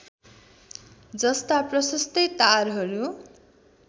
जस्ता प्रशस्तै टारहरू